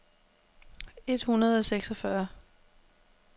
et hundrede og seksogfyrre